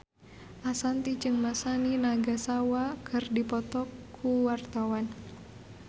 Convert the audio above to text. Ashanti jeung Masami Nagasawa keur dipoto ku wartawan